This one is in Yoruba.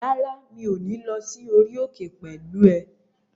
Rárá, mi ò ní lọ sí orí òkè pẹ̀lú ẹ